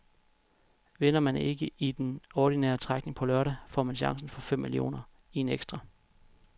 Vinder man ikke i den ordinære trækning på lørdag, får man chancen for fem millioner i en ekstra.